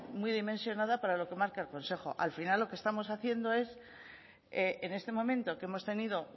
muy dimensionada para lo que marca el consejo al final lo que estamos haciendo es en este momento que hemos tenido